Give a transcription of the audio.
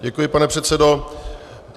Děkuji, pane předsedo.